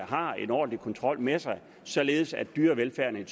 har en ordentlig kontrol med sig således at dyrevelfærden